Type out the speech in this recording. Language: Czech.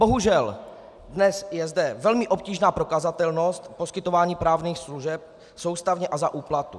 Bohužel dnes je zde velmi obtížná prokazatelnost poskytování právních služeb soustavně a za úplatu.